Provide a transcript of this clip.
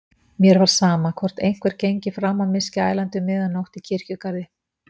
Mér var sama, hvort einhver gengi fram á mig skælandi um miðja nótt í kirkjugarði.